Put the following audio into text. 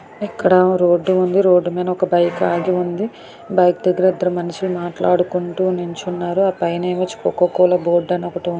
ఇక్కడ ఓ రోడ్డు ఉంది. రోడ్డు మీద ఒక బైక్ ఆగి ఉంది. బైక్ దగ్గర ఇద్దరు మనుషులు మాట్లాడుకుంటూ నుంచున్నారు. ఆ పైన కోకా కోలా బోర్డ్ అని ఒకటి ఉంది.